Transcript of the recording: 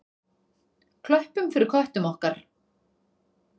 Klöppum fyrir köttum okkar!